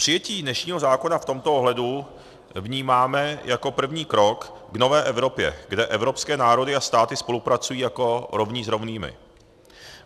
Přijetí dnešního zákona v tomto ohledu vnímáme jako první krok k nové Evropě, kde evropské národy a státy spolupracují jako rovní s rovnými.